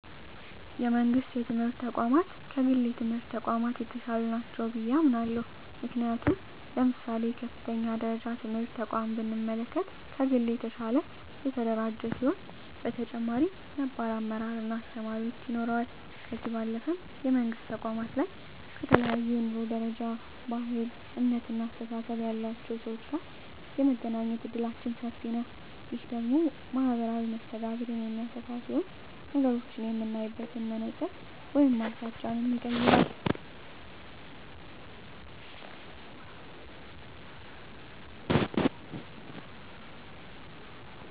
የመንግስት የትምህርት ተቋማት ከግል የትምህርት ተቋማት የተሻሉ ናቸው ብየ አምናለሁ። ምክንያቱም ለምሳሌ የከፍተኛ ደረጃ ትምህርት ተቋምን ብንመለከት ከግል የተሻለ የተደራጀ ሲሆን በተጨማሪም ነባር አመራር እና አስተማሪዎች ይኖረዋል። ከዚህ ባለፈም የመንግስት ተቋማት ላይ ከተለያየ የኑሮ ደረጃ፣ ባህል፣ እምነት እና አስተሳሰብ ያላቸው ሰወች ጋር የመገናኘት እድላችን ሰፊ ነዉ። ይህ ደግሞ ማህበራዊ መስተጋብርን የሚያሰፋ ሲሆን ነገሮችን የምናይበትን መነፀር ወይም አቅጣጫንም ይቀየራል።